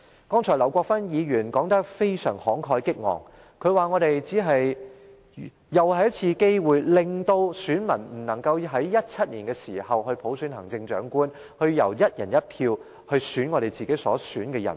剛才，劉國勳議員說得非常慷慨激昂，他說這是再次錯失機會，令選民不能在2017年普選行政長官，由"一人一票"選出自己想選的人。